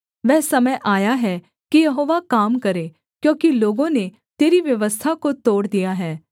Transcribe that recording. वह समय आया है कि यहोवा काम करे क्योंकि लोगों ने तेरी व्यवस्था को तोड़ दिया है